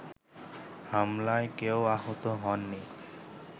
হামলায় কেউ আহত হননি